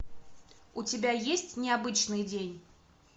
у тебя есть необычный день